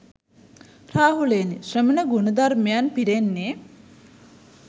රාහුලයෙනි, ශ්‍රමණ ගුණධර්මයන් පිරෙන්නේ